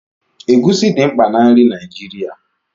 Egusi dị mkpa na nri Naijirịa.